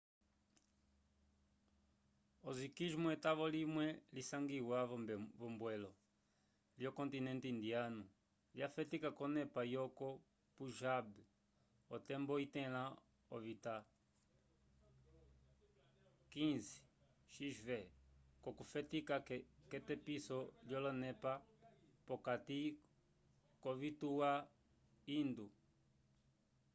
osiquismo etavo limwe lisangiwa v'ombwelo lyocontinente indiyanu lyafetika k'onepa yoko punjab otembo itẽla ovita xv okufetika k'etepiso lyolonepa p'okati k'ovituwa hindu